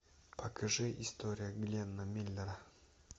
покажи история гленна миллера